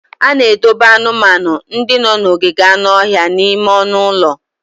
A na-edobe anụmanụ ndị nọ n'ogige anụ ọhịa n'ime ọnụ ụlọ.